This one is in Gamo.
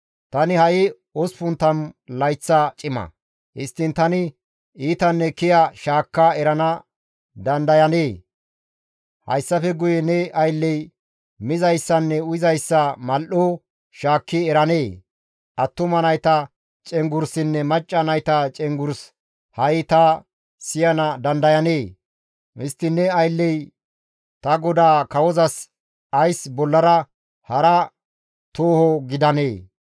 Tani ha7i 80 layththa cima; Histtiin tani iitanne kiya shaakka erana dandayanee? Hayssafe guye ne aylley mizayssanne uyizayssa mal7o shaakki eranee? Attuma nayta cenggurssinne macca nayta cenggurs ha7i ta siyana dandayanee? Histtiin ne aylley ta godaa kawozas ays bollara hara tooho gidanee?